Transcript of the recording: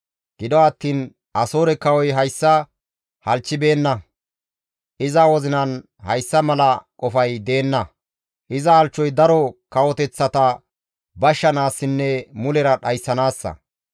Gido attiin Asoore kawoy hayssa halchchibeenna; iza wozinan hayssa mala qofay deenna; iza halchchoy daro kawoteththata bashshanaassinne mulera dhayssanaassa.